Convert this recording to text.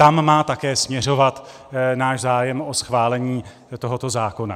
Tam má také směřovat náš zájem o schválení tohoto zákona.